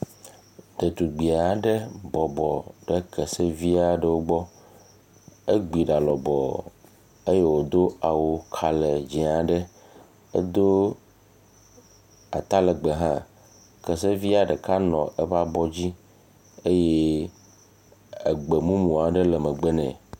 Detugbi aɖe bɔbɔ ɖe kesevi aɖewo gbɔ. Egbi ɖa lɔbɔɔ eye wòdo awu kalɛdzẽ aɖe. Edo atalɛgbɛ hã. Kesevia ɖeka nɔ eƒe abɔ dzi eye egbemumu aɖe le megbe nɛ